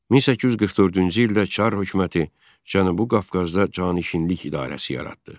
1844-cü ildə Çar hökuməti Cənubi Qafqazda canişinlik idarəsi yaratdı.